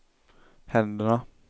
händerna